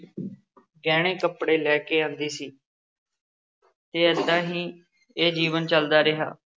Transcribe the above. ਗਹਿਣੇ ਕੱਪੜੇ ਲੈ ਕੇ ਆਉਂਦੀ ਸੀ ਅਤੇ ਏਦਾਂ ਹੀ ਇਹ ਜੀਵਨ ਚੱਲਦਾ ਰਿਹਾ।